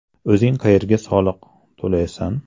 O‘zing qayerda soliq to‘laysan?